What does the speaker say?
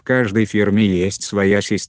в каждой фирме есть своя система работы